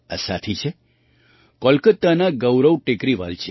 આ સાથી છે કોલકાતાના ગૌરવ ટેકરીવાલજી